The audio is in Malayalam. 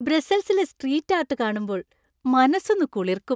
ബ്രസ്സൽസിലെ സ്ട്രീറ്റ് ആർട്ട് കാണുമ്പോൾ മനസ്സൊന്ന് കുളിർക്കും.